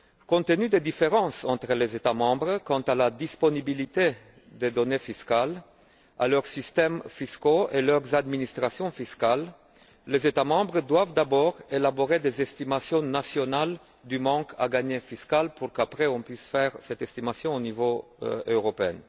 Compte tenu des différences entre les États membres quant à la disponibilité des données fiscales, à leurs systèmes fiscaux et à leurs administrations fiscales, les États membres doivent d'abord élaborer des estimations nationales du manque à gagner fiscal pour que nous puissions ensuite faire cette estimation au niveau européen.